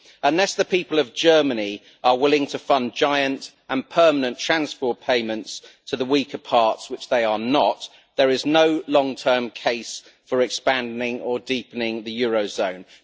Unless the people of Germany are willing to fund giant and permanent transfer payments to the weaker parts, which they are not, there is no long term case for expanding or deepening the eurozone.